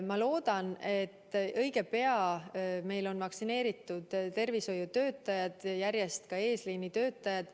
Ma loodan, et õige pea meil on vaktsineeritud tervishoiutöötajad, seejärel ka teised eesliinitöötajad.